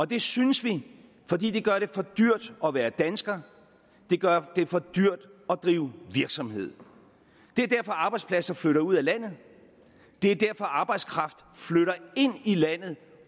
det synes vi fordi det gør det for dyrt at være dansker og det gør det for dyrt at drive virksomhed det er derfor arbejdspladser flytter ud af landet det er derfor arbejdskraft flytter ind i landet